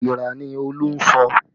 Igbira ni Olú ń sọ